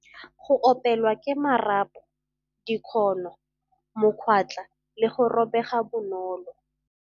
Go opelwa ke marapo, dikgono, mokwatla le go robega bonolo.